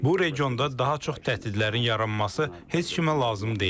Bu regionda daha çox təhdidlərin yaranması heç kimə lazım deyil.